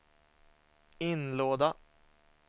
inlåda